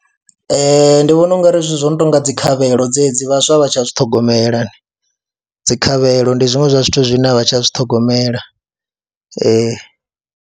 Ee, ndi vhona u nga ri zwithu zwo no tou nga dzi khavhelo dzedzi vhaswa vha tsha zwi ṱhogomela, dzi khavhelo ndi zwiṅwe zwa zwithu zwine a vhaswa a vha tsha zwi ṱhogomela.